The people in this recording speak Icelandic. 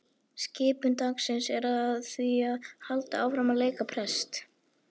Skipun dagsins er því að halda áfram að leika prest.